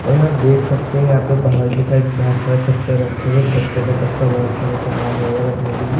और यहाँ आप देख सकते हैं यहाँ पे बाहर के साइड बहुत सारे कट्टे रखे हुए हैं इन कट्टों में पक्का बोहोत सारा सामान होगा रखने के लिए।